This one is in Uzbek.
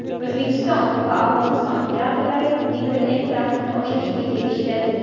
O‘zbekiston va Afg‘oniston operatorlari internet-trafikni oshirishga kelishdi.